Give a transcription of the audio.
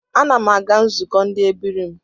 Ana m aga nzụkọ ndi ebiri m